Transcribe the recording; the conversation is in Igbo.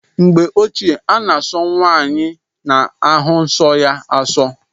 N'mgbe ochie ana aso nwaanyị na-ahu nsó ya aso.